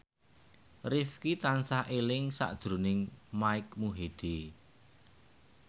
Rifqi tansah eling sakjroning Mike Mohede